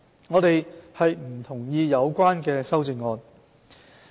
我們不同意有關的修正案。